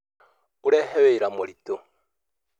Ũreehe wĩra mũritũ